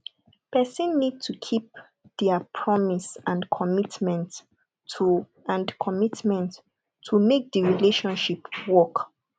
person need to keep to their promise and commitment to and commitment to make di relationship work